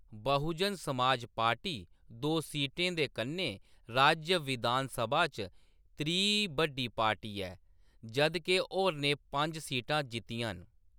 बहुजन समाज पार्टी दो सीटें दे कन्नै राज्य विधानसभा च त्री बड्डी पार्टी ऐ, जद् के होरनें पंज सीटां जित्तियां न।